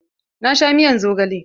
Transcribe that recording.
Na sha miyar zogale.